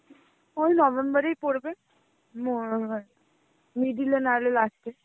ওই নভেম্বর এর পরবে ম~ middle না হই last এ.